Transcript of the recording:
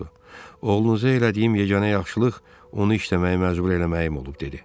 Oğlunuza elədiyim yeganə yaxşılıq onu işləməyə məcbur eləməyim olub dedi.